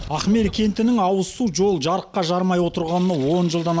ахмелі кентінің ауызсу жол жарыққа жарымай отырғанына он жылдан